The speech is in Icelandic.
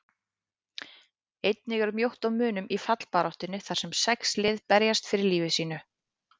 Einnig er mjótt á munum í fallbaráttunni þar sem sex lið berjast fyrir lífi sínu.